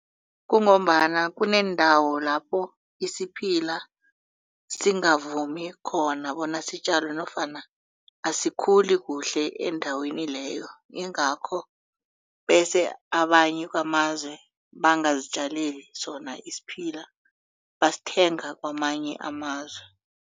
Kungombana kuneendawo lapho isiphila singavumi khona bona sitjalwe nofana asikhuli kuhle eendaweni leyo ingakho bese abanye kwamazwe bangazitjaleli sona isiphila basithenga kwamanye amazwe.